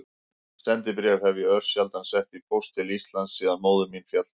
Sendibréf hef ég örsjaldan sett í póst til Íslands síðan móðir mín féll frá.